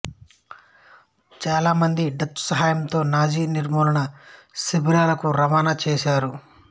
మంది చాలామంది డచ్ సహాయంతో నాజి నిర్మూలన శిబిరాలకు రవాణా చేశారు